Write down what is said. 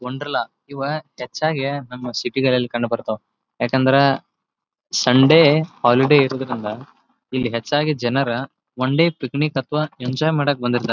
ವಂಡರ್‌ಲಾ ಇವ ಹೆಚ್ಚಾಗಿ ನಮ್ಮ ಸಿಟಿಗಳಲ್ಲಿ ಕಂಡು ಬರ್ತಾವ ಯಾಕಂದ್ರ ಸಂಡೆ ಹಾಲಿಡೇ ಇರೋದ್ರಿಂದ ಇಲ್ಲಿ ಹೆಚ್ಚಾಗಿ ಜನರು ಒಂಡೇ ಪಿಕ್ನಿಕ್ ಅಥವಾ ಎಂಜಾಯ್ ಮಾಡೋಕೆ ಬಂದಿರ್ತಾರೆ.